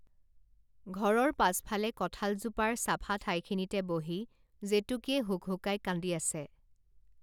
ঘৰৰ পাছফালে কঁঠাল জোপাৰ চাফা ঠাইখিনিতে বহি জেতুকীয়ে হুকহুকাই কান্দি আছে